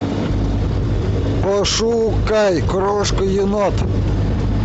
пошукай крошка енот